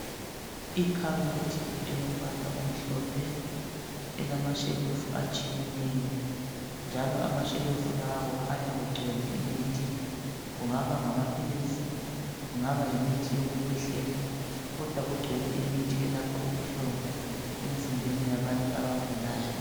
Ikhabothi elombala omhlophe elamasheufu atshiyeneyo, njalo amashelufu lawa kukhanya kugcwele imithi, kungaba ngamaphilisi, kungabayimithi yokukhwehlela. Kodwa kugcwele imithi elapha ubuhlungu emzimbeni yabantu abagulayo.